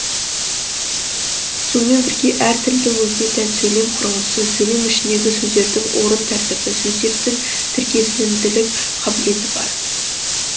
сонымен бірге әр тілдің өзіне тән сөйлем құрылысы сөйлем ішіндегі сөздердің орын тәртібі сөздердің тіркесілімділік қабілеті бар